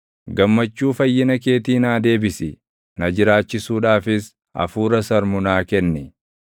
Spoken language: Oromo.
Gammachuu fayyina keetii naa deebisi; na jiraachisuudhaafis hafuura sarmu naa kenni.